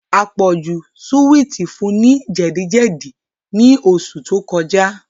Àpọ̀jù súwìtì fun ní jẹ̀díjẹ̀dí ní oṣù tó kọjá